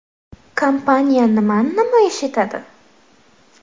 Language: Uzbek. Kompaniya nimani namoyish etadi?.